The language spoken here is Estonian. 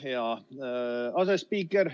Hea asespiiker!